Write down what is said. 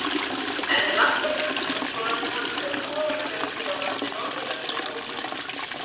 Enn er margt á huldu um skoðanir hans eða skoðanaleysi varðandi Norðurlöndin og Ísland.